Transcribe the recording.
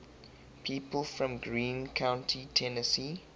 people from greene county tennessee